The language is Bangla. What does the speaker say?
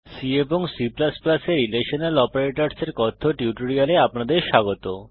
C এবং C এ রিলেশনাল অপারেটরসের কথ্য টিউটোরিয়ালে আপনাদের স্বাগত